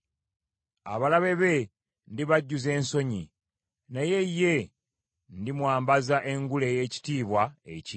Abalabe be ndibajjuza ensonyi, naye ye ndimwambaza engule ey’ekitiibwa ekingi.”